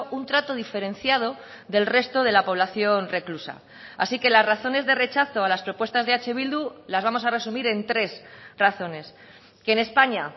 un trato diferenciado del resto de la población reclusa así que las razones de rechazo a las propuestas de eh bildu las vamos a resumir en tres razones que en españa